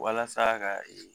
Walasa ka ee